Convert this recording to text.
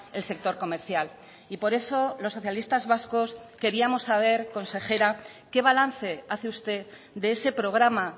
el sector comercial y por eso los socialistas vascos queríamos saber consejera qué balance hace usted de ese programa